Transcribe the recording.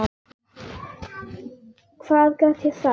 Hvað gat ég sagt?